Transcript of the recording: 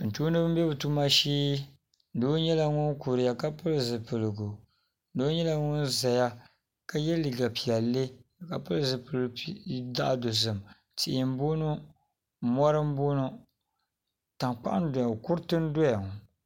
doo m-be o tuma shee doo nyɛla ŋun kuriya ka pili zupiligu doo nyɛla ŋun ʒiya ka ye liiga piɛlli ka pili zupil' zaɣ' dosim tihi m bɔŋɔ mɔri m- bɔŋɔ tankpaɣu n-doya la kuriti doya la.